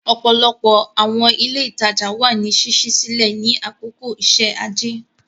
Ọ̀pọ̀lọpọ̀ àwọn ilé ìtajà wà ní ṣíṣí sílẹ̀ ní àkókò iṣẹ́ ajé.